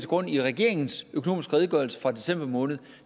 grund i regeringens økonomiske redegørelse fra december måned